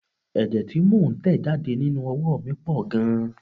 Ẹ̀jẹ tí mo ń tẹ̀ jáde nínú oówo mi pọ̀ gan-an.